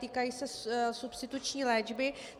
Týkají se substituční léčby.